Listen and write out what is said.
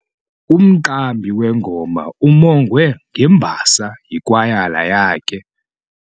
Umqambi wengoma uwongwe ngembasa yikwayala yakhe.